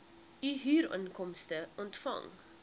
u huurinkomste ontvang